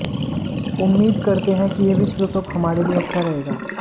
उम्मीद करते हैं कि यह विश्व कप हमारे लिए अच्छा रहेगा